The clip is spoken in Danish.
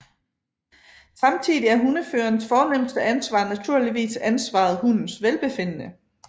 Samtidig er hundeførerens fornemste ansvar naturligvis ansvaret hundens velbefindende